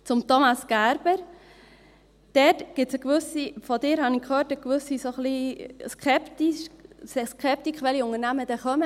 Zu Thomas Gerber: Dort gibt es eine gewisse – von Ihnen habe ich gehört –, ein wenig Skepsis, welche Unternehmer dann kommen.